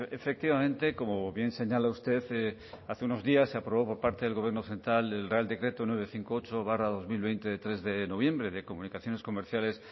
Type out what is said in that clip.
efectivamente como bien señala usted hace unos días se aprobó por parte del gobierno central el real decreto novecientos cincuenta y ocho barra dos mil veinte de tres de noviembre de comunicaciones comerciales